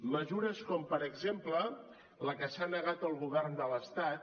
mesures com per exemple la que s’ha negat el govern de l’estat